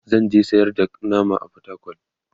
zanje sayar da nama a portacol